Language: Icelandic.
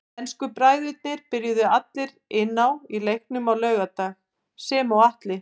Ensku bræðurnir byrjuðu allir inn á í leiknum á laugardag sem og Atli.